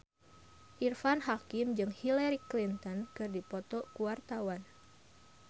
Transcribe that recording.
Irfan Hakim jeung Hillary Clinton keur dipoto ku wartawan